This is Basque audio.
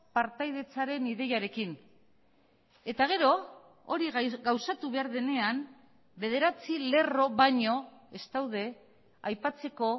partaidetzaren ideiarekin eta gero hori gauzatu behar denean bederatzi lerro baino ez daude aipatzeko